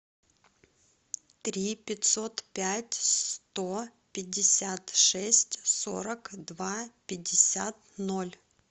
три пятьсот пять сто пятьдесят шесть сорок два пятьдесят ноль